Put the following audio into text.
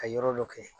Ka yɔrɔ dɔ kɛ